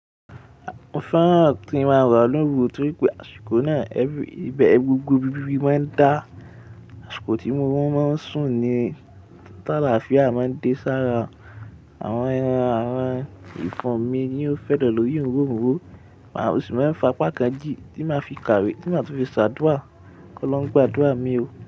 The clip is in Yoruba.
Mo fẹ́ràn tí mo máa ń rà lọ́wọ́ òru torí pé àṣìkò náà, ẹbí, gbogbo ibi bíbí máa ń dá. Àṣìkò tí mo máa ń sùn ni tàlàáfíà máa ń dé sára. Àwọn ẹran, àwọn ìfọ́n mi ni ó fẹ́ dọ̀ lórí òóron òóro, màá ósu mefá pákán jí tí màá fi kàwé, tí màá tún fi ṣàdúà kí ó lọ gba àdúà mi o.